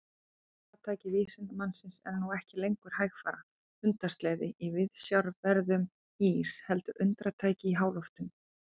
Farartæki vísindamannsins er nú ekki lengur hægfara hundasleði í viðsjárverðum ís heldur undratæki í háloftunum.